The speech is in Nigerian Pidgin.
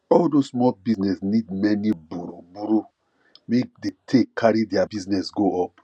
all those small business need many borrow borrow make they take carry their business go up